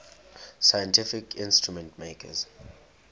scientific instrument makers